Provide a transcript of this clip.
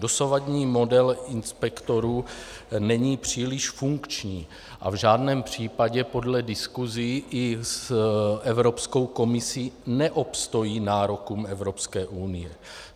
Dosavadní model inspektorů není příliš funkční a v žádném případě podle diskusí i s Evropskou komisí neobstojí nárokům Evropské unie.